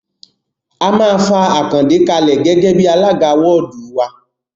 A máa fa Àkàndé kalẹ̀ gẹ́gẹ́ bí alága wọ́ọ̀dù wa